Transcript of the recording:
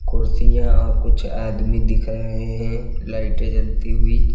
कुर्सियां और कुछ आदमी दिख रहे हैं लाइटें जलती हुई।